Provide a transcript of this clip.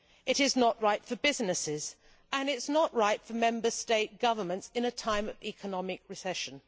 it is not right for businesses, and it is not right for Member States' governments in a time of economic recession.